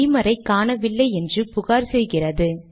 பீமரை காணவில்லை என்று புகார் செய்கிறது